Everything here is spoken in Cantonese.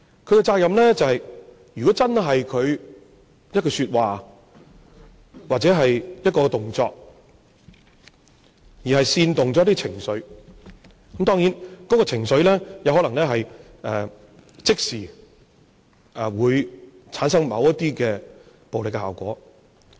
他的責任就是，如果因為他一句說話，或者一個動作，而煽動了一些情緒，當然，這個情緒可能會即時產生某些暴力效果。